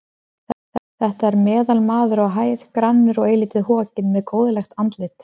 Þetta er meðalmaður á hæð, grannur og eilítið hokinn, með góðlegt andlit.